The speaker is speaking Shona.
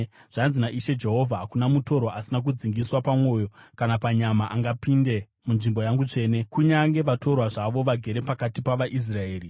Zvanzi naIshe Jehovha: Hakuna mutorwa asina kudzingiswa pamwoyo napanyama angapinde munzvimbo yangu tsvene, kunyange vatorwa zvavo vagere pakati pavaIsraeri.